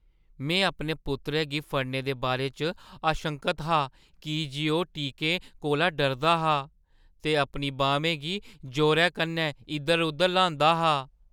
मैं अपने पुत्तरै गी फड़ने दे बारे च आशंकत हा की जे ओह् टीकें कोला डरदा हा ते अपनी बाह्‌में गी जोरै कन्नै इद्धर-उद्धर ल्हांदा हा।